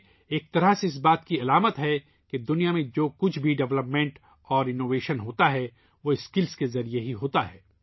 ایک طرح سے ، یہ اس حقیقت کی علامت ہے کہ دنیا میں جو بھی ترقی اور جدت واقع ہوتی ہے ، وہ صرف مہارت سے ہوتی ہے